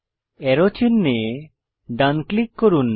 আরো চিনহে ডান ক্লিক করুন